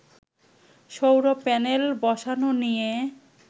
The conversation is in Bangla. সৌর প্যানেল বসানো নিয়ে